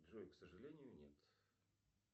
джой к сожалению нет